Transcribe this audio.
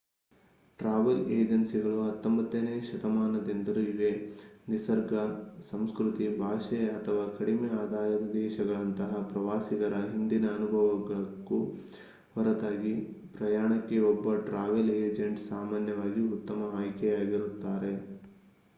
travel ಏಜೆನ್ಸಿಗಳು 19ನೇ ಶತಮಾನದಿಂದಲೂ ಇವೆ ನಿಸರ್ಗ ಸಂಸ್ಕೃತಿ ಭಾಷೆ ಅಥವಾ ಕಡಿಮೆ ಆದಾಯದ ದೇಶಗಳಂತಹ ಪ್ರವಾಸಿಗರ ಹಿಂದಿನ ಅನುಭವಕ್ಕೂ ಹೊರತಾಗಿ ಪ್ರಯಾಣಕ್ಕೆ ಒಬ್ಬ ಟ್ರಾವೆಲ್ ಏಜೆಂಟ್ ಸಾಮಾನ್ಯವಾಗಿ ಉತ್ತಮ ಆಯ್ಕೆಯಾಗಿರುತ್ತಾರೆ